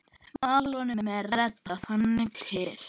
Málunum er reddað þangað til.